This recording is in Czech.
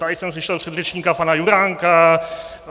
Tady jsem slyšel předřečníka pana Juránka.